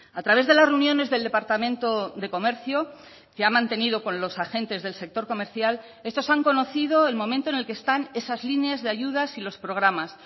a través de las reuniones del departamento de comercio que ha mantenido con los agentes del sector comercial estos han conocido el momento en el que están esas líneas de ayudas y los programas